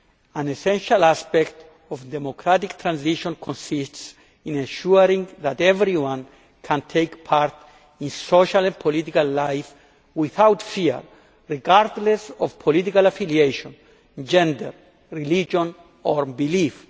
An essential aspect of democratic transition consists in ensuring that everyone can take part in social and political life without fear, regardless of political affiliation, gender, religion or belief.